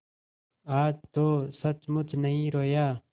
आज तो सचमुच नहीं रोया